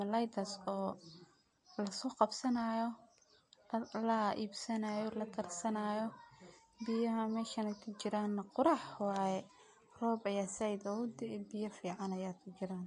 malayadas oo lagasoqabsanayo, la ibsanayo , lakarsanayo, biyaha meshan kujiran na qurux waye, rob ayaa zaid ogu dee, biya fican ayaa kujiran